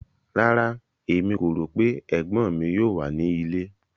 Rárá, Emi ko ro pe egbon mi yoo wa ni ile